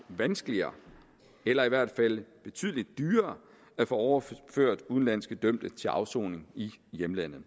vanskeligere eller i hvert fald betydelig dyrere at få overført udenlandske dømte til afsoning i hjemlandet